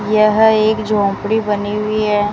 यह एक झोपड़ी बनी हुई है।